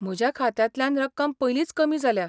म्हज्या खात्यांतल्यान रक्कम पयलींच कमी जाल्या.